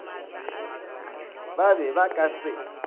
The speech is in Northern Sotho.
ba be ba ka se